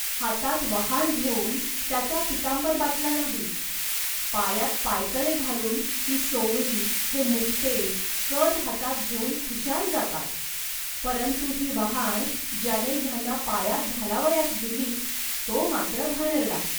हातात वहाण घेऊन त्याचा पीतांबर बाटला नाही. पायांत पायतणे घालून ही सोवळी, हे मुकटे, कद हातात घेऊन खुशाल जातात, परंतु ही वहाण ज्याने ह्यांना पायांत घालावयास दिली, तो मात्र घाणेरडा